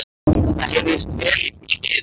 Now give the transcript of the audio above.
Það heyrðist vel í því niður.